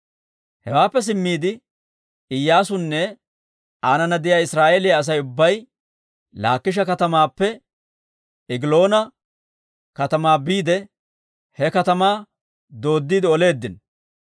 Hewaappe simmiide, Iyyaasunne aanana de'iyaa Israa'eeliyaa Asay ubbay Laakisha katamaappe Egiloona katamaa biide he katamaa dooddiide oleeddino.